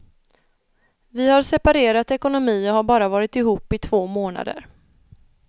Vi har separat ekonomi och har bara varit ihop i två månader.